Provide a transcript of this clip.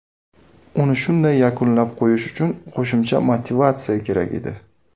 Uni shunday yakunlab qo‘yish uchun qo‘shimcha motivatsiya kerak edi.